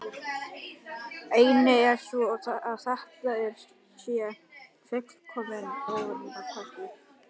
Ein er sú að þetta sé fullkomlega óraunhæfur kostur.